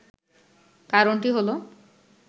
কারণটি হল